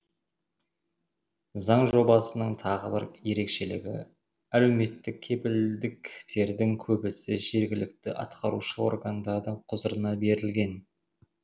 заң жобасының тағы бір ерекшілігі әлеуметтік кепілдіктердің көбісі жергілікті атқарушы органдардың құзырына берілген